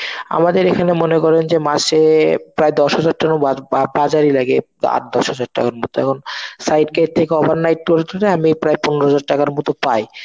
আমাদের এখানে মনে করেন যে মাসে প্রায় দশ হাজার টাকা বা~ বাজার ই লাগে আট দশ হাজার টাকার মতো এখন side gate থেকে overnight করে টরে আমি প্রায় পনেরো হাজার টাকার মতো পাই.